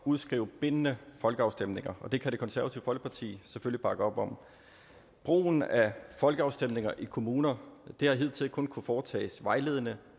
udskrive bindende folkeafstemninger og det kan det konservative folkeparti selvfølgelig bakke op om brugen af folkeafstemninger i kommuner har hidtil kun kunnet foretages vejledende